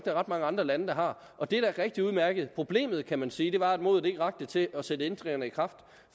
er ret mange andre lande der har og det er da rigtig udmærket problemet kan man sige var at modet ikke rakte til at sætte ændringerne i kraft